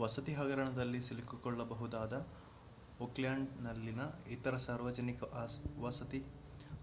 ವಸತಿ ಹಗರಣದಲ್ಲಿ ಸಿಲುಕಿಕೊಳ್ಳಬಹುದಾದ ಓಕ್ಲ್ಯಾಂಡ್‌ನಲ್ಲಿನ ಇತರ ಸಾರ್ವಜನಿಕ ವಸತಿ